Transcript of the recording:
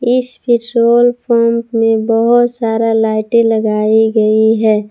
इस petrol pump में बहोत सारा लाइटें लगाई गई है।